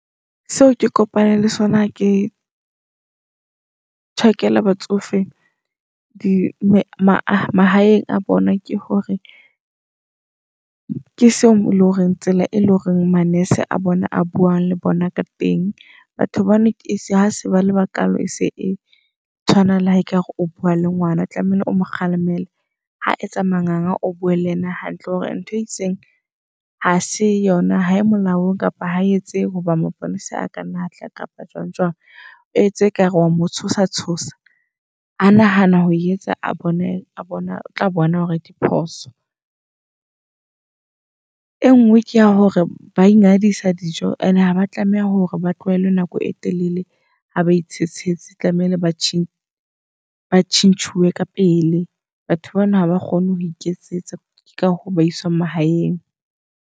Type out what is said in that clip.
Seo ke kopaneng le sona ha ke tjhakela batsofe di mahaeng a bona, ke hore ke seo ele horeng tsela e leng hore ma-nurse a bona a buang le bona ka teng. Batho ba bona ese ha se bale bakalo e se e tshwana le ha ekare o bua le ngwana. O tlamehile o mo kgalemele, ha etsa manganga o tlamehile o bue le yena hantle hore ntho e itseng ha se yona. Ha e molaong kapa ha etse hoba maponesa a kanna atla kapa jwang jwang. O etse ekare wa motshosa tshosa. Ha nahana ho etsa a bone a bona o tla bona hore diphoso. E ngwe ke ya hore ba ingadisa dijo and haba tlameha hore ba tlohellwe nako e telele ha ba itshesetse. Tlamehile ba change ba tjhentjhuwe ka pele. Batho bana haba kgone ho iketsetsa ke ka hoo ba iswang mahaeng.